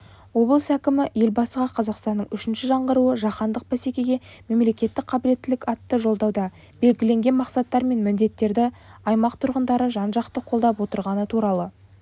облыс әкімі елбасыға қазақстанның үшінші жаңғыруы жаһандық бәсекеге қабілеттілік атты жолдауда белгіленген мақсаттар мен міндеттерді аймақ тұрғындары жан-жақты қолдап отырғаны туралы